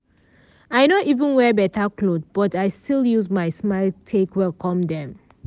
i nor even wear beta cloth but i still use my smile take welcome dem.